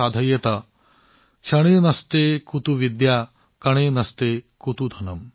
क्षणे नष्टे कुतो विद्या कणे नष्टे कुतो धनम्